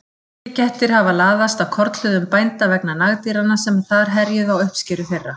Villikettir hafa laðast að kornhlöðum bænda vegna nagdýranna sem þar herjuðu á uppskeru þeirra.